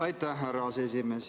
Aitäh, härra aseesimees!